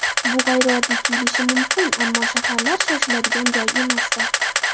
Bu g‘ayrioddiy tuyulishi mumkin, ammo shaharlar - shoshiladigan joy emasdir.